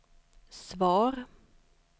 svar